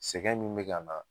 Sɛgɛ dun mɛ ka na